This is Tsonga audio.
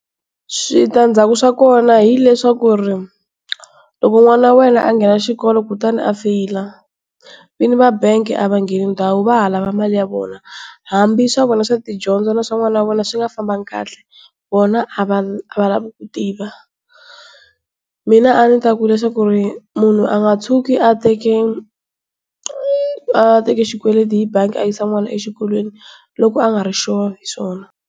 Switandzhaku swa kona hileswaku loko n'wana wa wena a nghena xikolo ku ta ni a feyila vini va bangi a va ngheni ndhawu va ha lava mali ya vona, hambi swa vona swa tidyondzo na swa n'wana wa vona swi nga fambangi kahle vona a va a va lavi ku tiva. Mina a ndzi ta ku leswaku munhu a nga tshuki a teke a teke xikweleti hi bangi a yisa n'wana exikolweni loko a nga ri sure hi swona.